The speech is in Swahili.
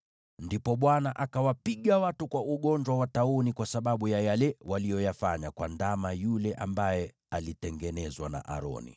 Ndipo Bwana akawapiga watu kwa ugonjwa wa tauni kwa sababu ya yale waliyoyafanya kwa ndama yule ambaye alitengenezwa na Aroni.